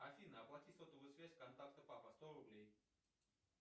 афина оплати сотовую связь контакта папа сто рублей